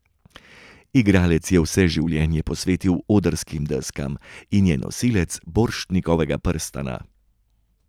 Igralec je vse življenje posvetil odrskim deskam in je nosilec Borštnikovega prstana.